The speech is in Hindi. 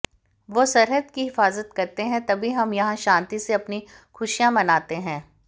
वो सरहद की हिफाजत करते हैं तभी हम यहां शांति से अपनी खुशियां मनाते हैं